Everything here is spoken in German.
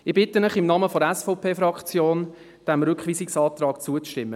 Ich bitte Sie im Namen der SVP-Fraktion, diesem Rückweisungsantrag zuzustimmen.